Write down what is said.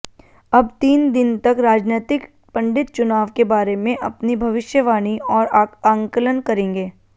अब तीन दिन तक राजनैतिक पंडित चुनाव के बारे में अपनी भविष्यवाणी और आंकलन करेंगे